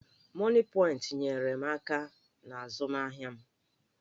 Mọnịpọịntị nyeere m aka n'azụmahịa m.